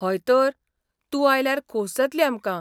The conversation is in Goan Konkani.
हय तर, तूं आयल्यार खोस जातली आमकां.